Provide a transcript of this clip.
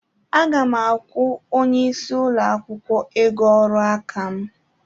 Aga m akwụ onye isí ụlọ akwụkwọ ego ọrụ aka m.